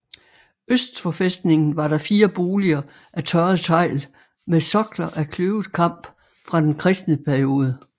Øst for fæstningen var der fire boliger af tørret tegl med sokler af kløvet kamp fra den kristne periode